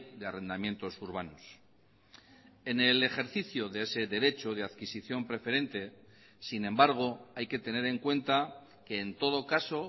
de arrendamientos urbanos en el ejercicio de ese derecho de adquisición preferente sin embargo hay que tener en cuenta que en todo caso